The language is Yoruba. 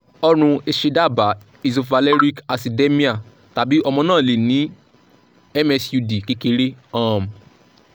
orun ese daaba isovaleric acidemia tabi omo na le ni msud kekere um